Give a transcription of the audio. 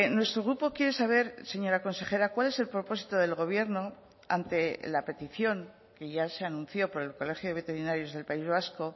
nuestro grupo quiere saber señora consejera cuál es el propósito del gobierno ante la petición que ya se anunció por el colegio de veterinarios del país vasco